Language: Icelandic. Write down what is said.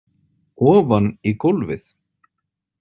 Ofan í gólfið